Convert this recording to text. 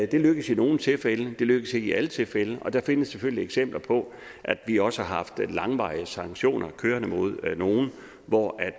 det lykkes i nogle tilfælde det lykkes ikke i alle tilfælde og der findes selvfølgelig eksempler på at vi også har haft langvarige sanktioner kørende mod nogen hvor